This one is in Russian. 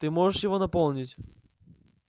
ты можешь его наполнить